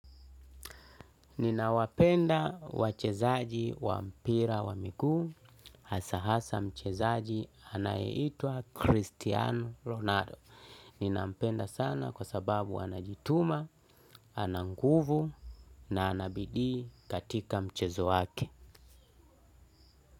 Ninawapenda wachezaji wa mpira wa miku hasahasa mchezaji anayeitwa Christiano Ronaldo. Ninawapenda sana kwa sababu anajituma, ana nguvu na anabidi katika mchezo wake.